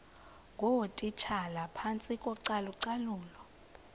ngootitshala phantsi kocalucalulo